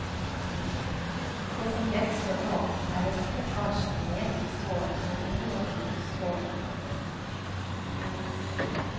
Det som gjenstår nå, er restlekkasjene nede i sålen og i området mellom sålen og veggen.